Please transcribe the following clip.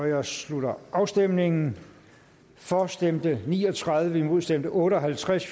jeg slutter afstemningen for stemte ni og tredive imod stemte otte og halvtreds